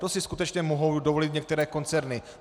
To si skutečně mohou dovolit některé koncerny.